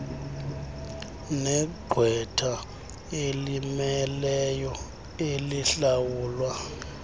negqwetha elimmeleyo elihlawulwa